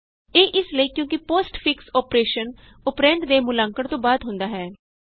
ਇਹ ਇਸ ਲਈ ਕਿਉਂ ਕਿ ਪੋਸਟ ਫਿਕਸ ਅੋਪਰੇਸ਼ਨ ਅੋਪਰੈਂਡ ਦੇ ਮੁਲਾਂਕਣ ਤੋਂ ਬਾਅਦ ਹੁੰਦਾ ਹੈ